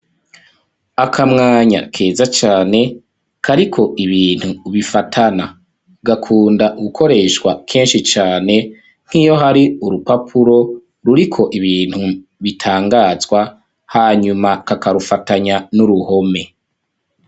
Akamwanya keza cane kariko ibintu bifatana. Gakunda gukoreshwa kenshi cane nk'iyo hari urupapuro ruriko ibintu bitangazwa , hanyuma kakarufatanya n'uruhome .